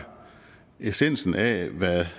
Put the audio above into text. essensen af hvad